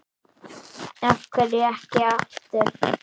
Af hverju ekki aftur?